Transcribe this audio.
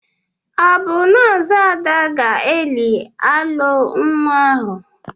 Ọ bụ nọọsụ Ada ga-eli alọ nwa ahụ?